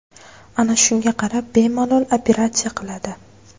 Ana shunga qarab bemalol operatsiya qiladi.